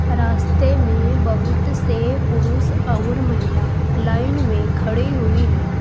रास्ते में बहुत से पुरुष और महिला लाइन में खड़े हुई हैं।